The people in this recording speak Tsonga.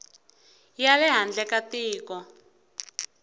ya le handle ka tiko